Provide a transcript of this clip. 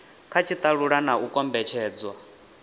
kha tshitalula na u kombetshedzwa